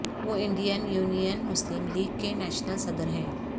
وہ Indian Union Muslim League کے national صدر ہیں